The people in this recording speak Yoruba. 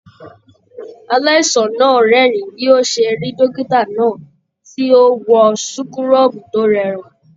Aláìsàn náà rẹ́rìn bi o ṣe rí dókítà náà ti o wọn súkúrọbuù to rẹwà.